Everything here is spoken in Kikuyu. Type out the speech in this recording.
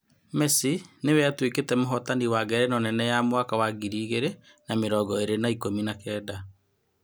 Mesi nĩwe atuĩkĩte mũhotani wa Ngerenwa nene ya mwaka wa ngiri igĩrĩ na mĩrongo ĩrĩ na ikũmi na kenda.